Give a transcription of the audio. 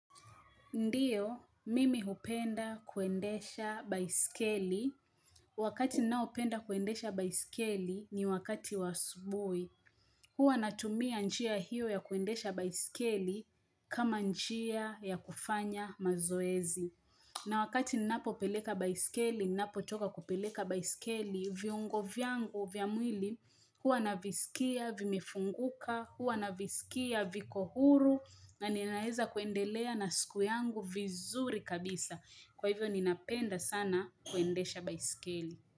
Ndiyo, mimi hupenda kuendesha baiskeli. Wakati ninaopenda kuendesha baiskeli ni wakati wa asubui. Huwa natumia njia hiyo ya kuendesha baiskeli kama njia ya kufanya mazoezi. Na wakati napo peleka baiskeli, napo toka kupeleka baiskeli, viungo vyangu, vyamwili, huwa navisikia, vimifunguka, huwa navisikia, viko huru, na ninaeza kuendelea na siku yangu vizuri kabisa Kwa hivyo ninapenda sana kuendesha baisikeli.